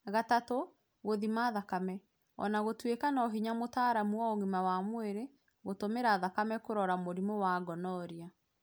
Gatatũ, gũthima thakame. Ona gũtwĩka nohinya mũtaalamu wa ũgima wa mwĩrĩ gũtũmĩra thakame kũrora mũrimũ wa gonorrhea